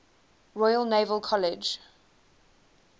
royal naval college